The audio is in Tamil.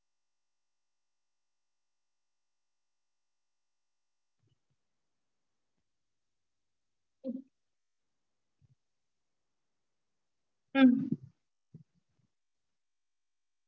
Okay mam. நா send பண்ணிட்டேன் பாருங்க mam non veg varieties உங்களுக்கு என்னென்ன வேணுனு நீங்க பாத்துக்கோங்க. பாத்துட்டு select பண்ணி எனக்கு அப்டியே அத அனுப்ச்சுட்டுருங்க. அப்டியே அந்த cake கூட எனக்கு அனுப்ச்சிட்டீங்கனா நான்